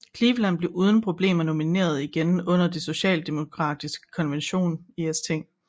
Cleveland blev uden problemer nomineret igen under det demokratiske konvent i St